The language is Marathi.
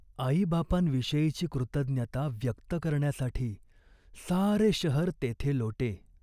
आईबापांविषयीची कृतज्ञता व्यक्त करण्यासाठी सारे शहर तेथे लोटे.